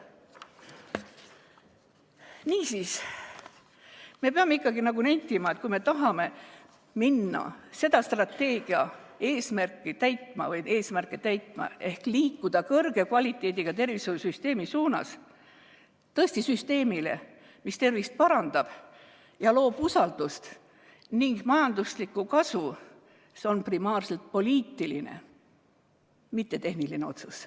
Niisiis, me peame ikkagi nentima, et kui me tahame hakata eesmärke täitma ehk liikuda kvaliteetse tervishoiusüsteemi suunas, süsteemi suunas, mis tõesti tervist parandab ja loob usaldust ning majanduslikku kasu, siis see on primaarselt poliitiline, mitte tehniline otsus.